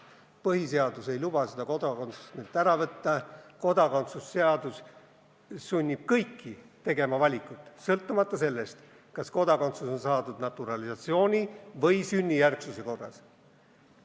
Põhiseadus ei luba neilt kodakondsust ära võtta, kodakondsuse seadus sunnib aga kõiki tegema valikuid sõltumata sellest, kas kodakondsus on saadud naturalisatsiooni või sünnijärgsuse korras.